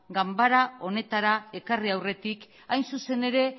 ganbara honetara ekarri aurretik hain zuzen ere